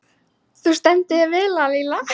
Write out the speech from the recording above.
Þú stendur þig vel, Lalíla!